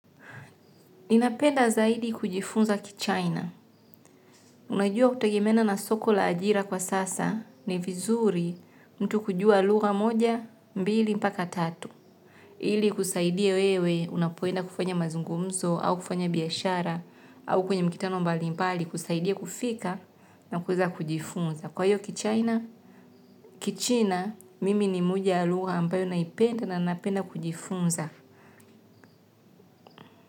Ninapenda zaidi kujifunza kichaina. Unajua kutegemeana na soko la ajira kwa sasa ni vizuri mtu kujua lugha moja, mbili, mpaka tatu. Ili kusaidia wewe unapoenda kufanya mazungumzo au kufanya biashara au kwenye mikutano mbali mbali kusaidia kufika na kuweza kujifunza. Kwa hiyo kichaina kichina mimi ni moja ya lugha napenda na napenda kujifunza.